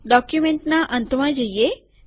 ડોક્યુમેન્ટના અંતમાં જઈએ